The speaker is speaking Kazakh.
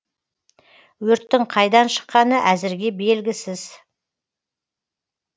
өрттің қайдан шыққаны әзірге белгісіз